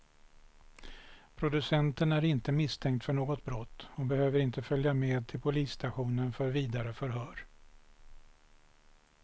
Producenten är inte misstänkt för något brott och behövde inte följa med till polisstationen för vidare förhör.